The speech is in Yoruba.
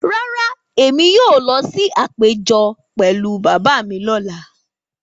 Rárá, èmi yóò lọ sí àpéjọ pẹ̀lú bàbá mi lọ́la